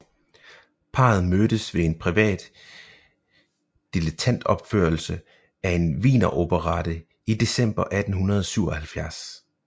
Parret mødtes ved en privat dilettantopførelse af en wieneroperette i december 1877